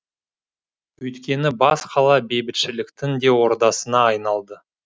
өйткені бас қала бейбітшіліктің де ордасына айналды